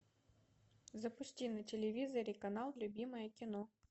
запусти на телевизоре канал любимое кино